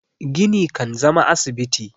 gini kan zama na asibiti